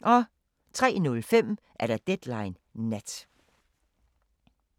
03:05: Deadline Nat